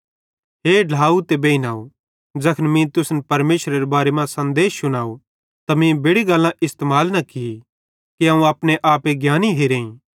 हे ढ्लाव ते बेइनव ज़ैखन मीं तुसन परमेशरेरे बारे मां सन्देश शुनव त मीं बेड़ि गल्लां इस्तेमाल न की कि अवं अपने आपे ज्ञानी हिरेईं